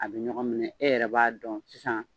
A bɛ ɲɔgɔn minɛ e yɛrɛ b'a dɔn sisan.